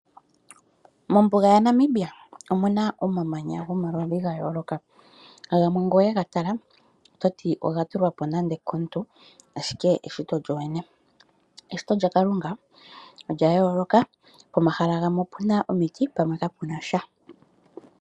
Mombuga yaNamibia omuna omamanya gomaludhi gayooloka, gamwe ngele owegatala ototi ogatulwapo nande okomuntu ashike eshito lyolyene. Eshito lyaKalunga olya yooloka, pomahala gamwe opuna omiti pumwe kapunasha.